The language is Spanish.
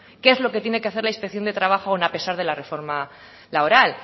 qué es lo que tiene que hacer la inspección de trabajo aun a pesar de la reforma laboral